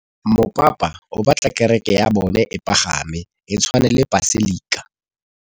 Mopapa o batla kereke ya bone e pagame, e tshwane le paselika.